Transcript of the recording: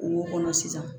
Kungo kɔnɔ sisan